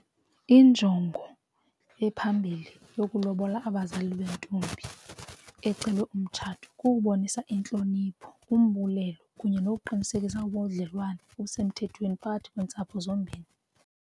Injongo ephambili yokulobola abazali bentombi ecelwe umtshato kukubonisa intlonipho umbulelo kunye nokuqinisekisa ubudlelwane obusemthethweni phakathi kweentsapho zombini.